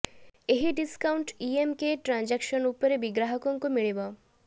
ଏହି ଡିସକାଉଂଟ ଇଏମକେ ଟ୍ରାଂଜାକସନ ଉପରେ ବି ଗ୍ରାହକଙ୍କୁ ମିଳିବ